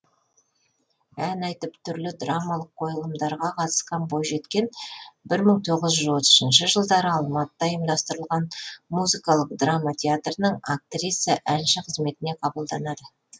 ән айтып түрлі драмалық қойылымдарға қатысқан бойжеткен бір мың тоғыз жүз отызыншы жылдары алматыда ұйымдастырылған музыкалық драма театрының актриса әнші қызметіне қабылданады